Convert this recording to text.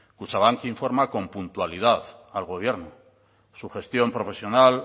kutxabank informa con puntualidad al gobierno su gestión profesional